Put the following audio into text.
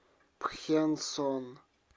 пхенсон